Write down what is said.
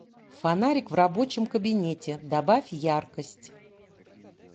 фонарик в рабочем кабинете добавь яркость